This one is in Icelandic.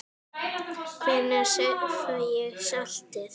Hvenær fæ ég saltið?